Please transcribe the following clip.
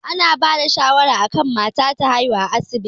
Ana bada shawara akan mata ta haihuwa a asibiti